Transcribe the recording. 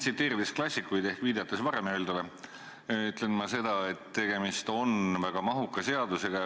Tsiteerides klassikuid ehk viidates varem öeldule, ütlen ma seda, et tegemist on väga mahuka seadusega.